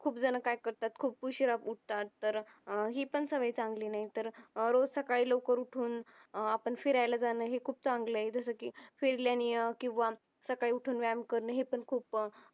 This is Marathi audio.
खूप जण काय करतात खूप उशिरा उठतात तर अह ही पण सवय चांगली नाही तर रोज सकाळी लवकर उठून अह आपण फिरायला जाण हे खूप चांगला आहे जस की फिरल्यानी अह किंवा सकाळी उठून व्यायाम करन हे पण खूप